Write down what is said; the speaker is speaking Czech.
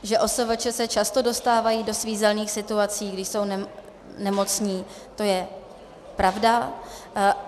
Že OSVČ se často dostávají do svízelných situací, když jsou nemocní, to je pravda.